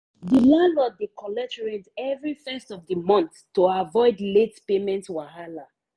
the landlord dey collect rent every first of the month to avoid late payment wahala.